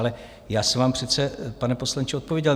Ale já jsem vám přece, pane poslanče, odpověděl.